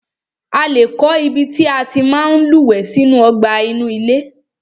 A lé kọ́ ibi tí a tí máa ń lúwẹ̀ẹ́ sí inú ọgbà inú ilé.